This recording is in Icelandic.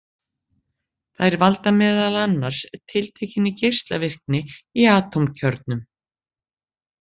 Þær valda meðal annars tiltekinni geislavirkni í atómkjörnum.